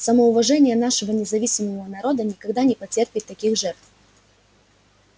самоуважение нашего независимого народа никогда не потерпит таких жертв